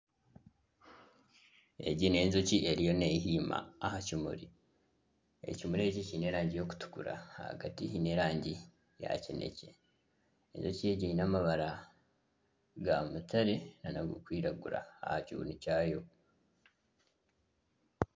Egi ni enjoki eriyo nehiima aha kimuri. Ekimuri eki kiine erangi erikutukura, ahagati hiine erangi ya kinekye. Enjoki egi eine amabara ga mutare nana agarikwiragura aha kibunu kyayo.